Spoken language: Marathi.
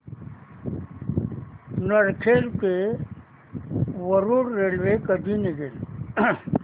नरखेड ते वरुड रेल्वे कधी निघेल